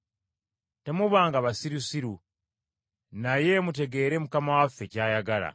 Temubanga basirusiru, naye mutegeere Mukama waffe ky’ayagala.